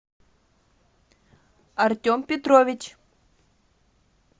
артем петрович